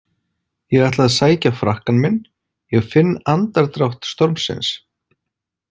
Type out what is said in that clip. Ég ætla að sækja frakkann minn, ég finn andardrátt stormsins.